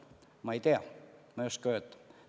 Ma ei tea, ma ei oska öelda.